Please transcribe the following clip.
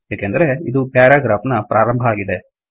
ಏಕೆಂದರೆ ಇದು ಪ್ಯಾರಾಗ್ರಾಫ್ ನ ಪ್ರಾರಂಭ ಆಗಿದೆ